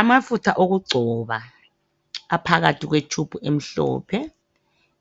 Amafutha okugcoba aphakathi kwe tube emhlophe